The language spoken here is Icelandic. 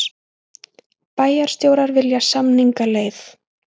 Bæjarstjórar vilja samningaleið